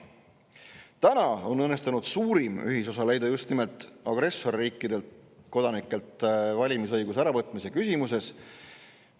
Tänaseks on õnnestunud suurim ühisosa leida just nimelt agressorriikide kodanikelt valimisõiguse äravõtmise küsimuses.